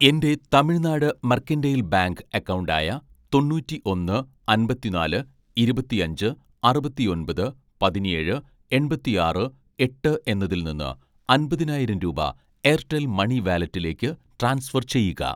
എൻ്റെ Tamil Nadu mercantile bank account ആയ തൊണ്ണൂറ്റിഒന്ന് അമ്പത്തിനാല് ഇരുപത്തിഅഞ്ച് അറുപത്തിഒന്‍പത് പതിനേഴ് എണ്‍പത്തിആറ് എട്ട് എന്നതിൽ നിന്ന് അമ്പതിനായിരം രൂപ എയർടെൽ മണി വാലറ്റിലേക്ക് ട്രാൻസ്ഫർ ചെയ്യുക